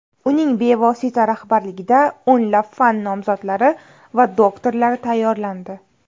Uning bevosita rahbarligida o‘nlab fan nomzodlari va doktorlari tayyorlandi.